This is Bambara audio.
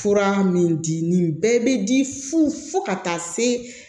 Fura min di nin bɛɛ bɛ di fu fo ka taa se